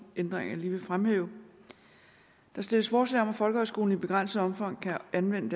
ændringer jeg lige vil fremhæve der stilles forslag om at folkehøjskolen i begrænset omfang kan anvende